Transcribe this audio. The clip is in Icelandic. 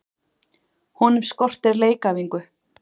Honum skortir leikæfingu.